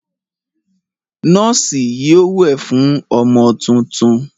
Nọ́ọ́sì yóò wẹ̀ fún ọmọ tuntun.